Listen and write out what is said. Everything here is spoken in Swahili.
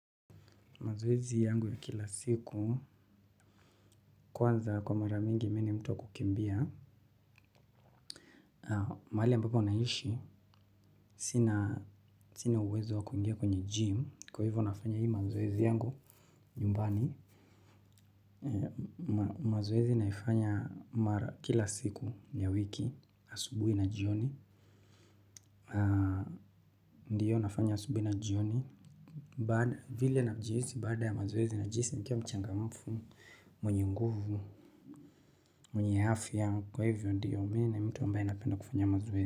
Mazoezi yangu ya kila siku, kwanza kwa mara mingi mimi ni mtu wa kukimbia. Mahali ambapo naishi, sina uwezo wa kuingia kwenye gym, kwa hivyo nafanya hii mazoezi yangu, nyumbani. Mazoezi naifanya kila siku ya wiki, asubuhi na jioni. Ndio nafanya asubuhi na jioni. Baada vile najihisi baada ya mazoezi najihisi nikiwa mchangamfu mwenye nguvu. Mwenye afya kwa hivyo ndiyo mimi ni mtu ambaye napenda kufanya mazoezi.